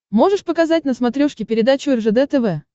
можешь показать на смотрешке передачу ржд тв